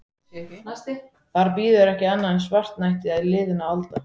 Þar bíður ekki annað en svartnætti liðinna alda.